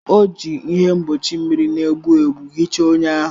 O ji ihe mgbochi mmiri na-egbu egbu hichaa ọnya ahụ.